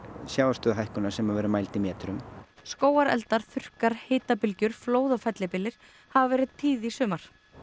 sjávarstöðuhækkunar sem verður mæld í metrum skógareldar þurrkar flóð og fellibyljir hafa verið tíð í sumar